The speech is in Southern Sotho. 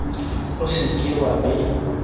o se ke wa be